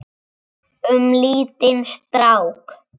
Um lítinn strák.